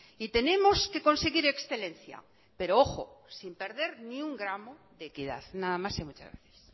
y tenemos que conseguir excelencia pero ojo sin perder ni un gramo de equidad nada más y muchas gracias